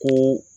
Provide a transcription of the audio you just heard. Ko